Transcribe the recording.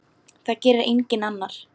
Það gerir enginn annar.